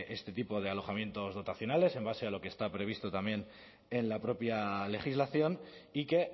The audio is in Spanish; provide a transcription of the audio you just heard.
este tipo de alojamientos dotacionales en base a lo que está previsto también en la propia legislación y que